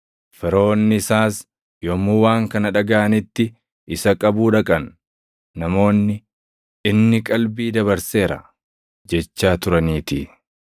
Firoonni isaas yommuu waan kana dhagaʼanitti isa qabuu dhaqan; namoonni, “Inni qalbii dabarseera” jechaa turaniitii.